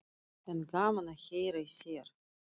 En gaman að heyra í þér.